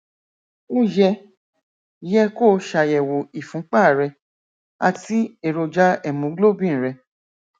ó yẹ yẹ kó o ṣàyẹwò ìfúnpá rẹ àti èròjà hemoglobin rẹ